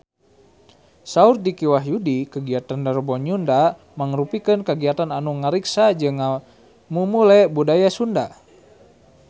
Saur Dicky Wahyudi kagiatan Rebo Nyunda mangrupikeun kagiatan anu ngariksa jeung ngamumule budaya Sunda